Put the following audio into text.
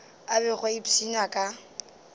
a bego a ipshina ka